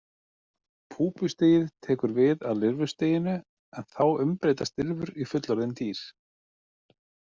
Púpustigið tekur við af lirfustiginu en þá umbreytast lirfur í fullorðin dýr.